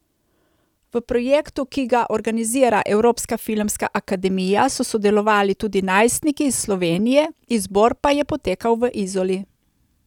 V projektu, ki ga organizira Evropska filmska akademija, so sodelovali tudi najstniki iz Slovenije, izbor pa je potekal v Izoli.